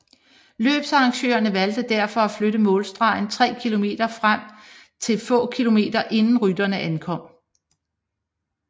Løbsarrangørene valgte derfor at flytte målstregen 3 km frem til få kilometer inden rytterne ankom